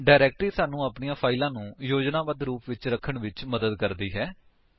directory ਸਾਨੂੰ ਆਪਣੀਆ ਫਾਇਲਾਂ ਨੂੰ ਯੋਜਨਾਬੱਧ ਰੂਪ ਵਿੱਚ ਰਖਣ ਵਿੱਚ ਮਦਦ ਕਰਦੀ ਹੈ